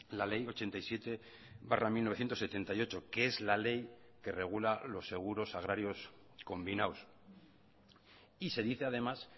la ley ochenta y siete barra mil novecientos setenta y ocho que es la ley que regula los seguros agrarios combinados y se dice además